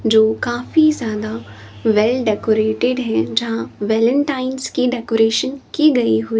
जो काफी ज्यादा वेल डेकोरेटेड हैं जहां वेलेंटाइंस की डेकोरेशन की गई हुई--